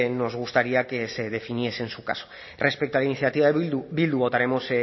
nos gustaría que definiese en su caso respecto a la iniciativa de bildu votaremos